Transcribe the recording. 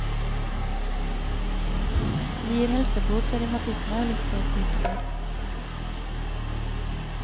De gir helsebot for revmatisme og luftveissykdommer.